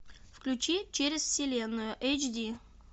включи через вселенную эйч ди